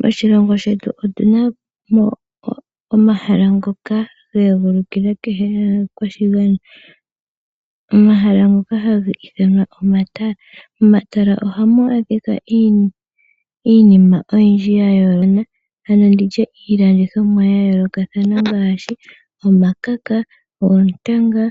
Moshilongo shetu otu na mo omahala ngoka ga egulukila kehe omukwashigwana. Omahala ngoka haga ithanwa omatala. Momatala ohamu adhika iinima oyindji ya yooloka ano ndi tye iilandithomwa ya yoolokathana ngaashi omakaka, oontanga,